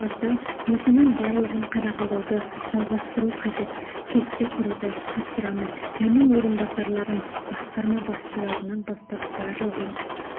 сапасы осының барлығын қадағалауды жалғастыру қажет кесте құруды тапсырамын менің орынбасарларым басқарма басшыларынан бастап барлығын